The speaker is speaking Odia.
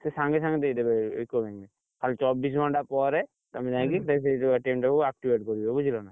ସିଏ ସାଙ୍ଗେ ସାଙ୍ଗେ ଦେଇଦେବେ UCO bank ରେ, ଖାଲି ଚବିଶି ଘଣ୍ଟା ପରେ, ତମେ ଯାଇକି ଟା କୁ, activate କରିବ ବୁଝିଲ ନା।